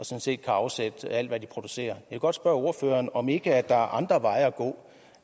set kan afsætte alt hvad de producerer vil godt spørge ordføreren om der ikke er andre veje at gå